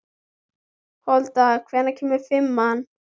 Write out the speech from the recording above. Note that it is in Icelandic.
Folda, hvenær kemur fimman?